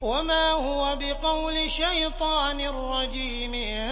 وَمَا هُوَ بِقَوْلِ شَيْطَانٍ رَّجِيمٍ